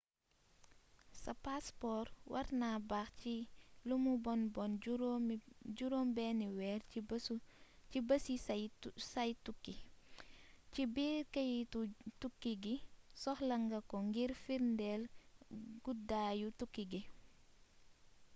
sa paspor warna baax ci lumu bon bon juróom benni weer ci bési say tukki. ci/biir keyitu tukki gi soxla nga ko ngir firndéel guddaayu tukki gi